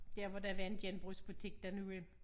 Dér hvor der var en genbrugsbutik dernede hvor